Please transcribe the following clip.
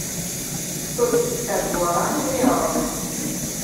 сто пятьдесят гуарани в реалах